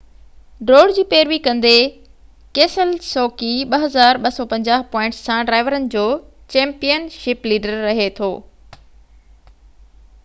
ڊوڙ جي پيروي ڪندي، ڪيسيلسوڪي 2،250 پوائنٽن سان ڊرائيورن جو چيمپين شپ ليڊر رَهي ٿو